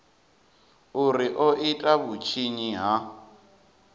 uri o ita vhutshinyi ha